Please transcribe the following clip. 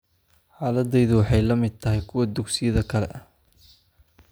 Xaaladdaydu waxay la mid tahay kuwa dugsiyada kale.